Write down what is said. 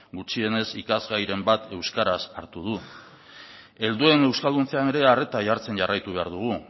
gutxienez ikasgairen bat euskaraz hartu du helduen euskalduntzean ere arreta jartzen jarraitu behar dugu